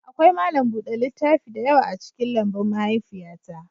Akwai malam buɗe littaf da yawa a cikin lambun mahaifiyata